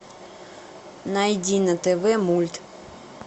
найди на тв мульт